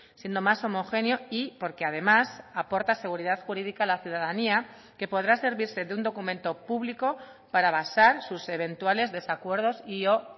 siendo más homogéneo y porque además aporta seguridad jurídica a la ciudadanía que podrá servirse de un documento público para basar sus eventuales desacuerdos y o